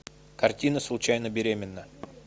картина случайно беременна